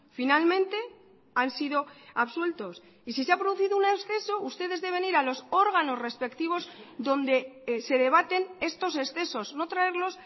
finalmente han sido absueltos y si se ha producido un exceso ustedes deben ir a los órganos respectivos donde se debaten estos excesos no traerlos